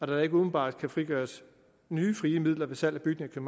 der ikke umiddelbart kan frigøres nye frie midler ved salg af bygninger